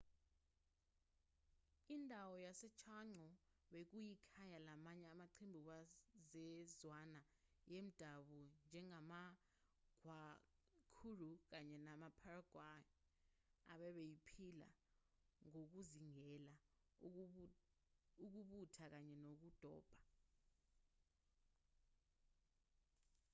indawo yasechaco bekuyikhaya lamanye amaqembu wezizwana zemdabu njengamaguaycurú kanye namapayaguá ababephila ngokuzingela ukubutha kanye nokudoba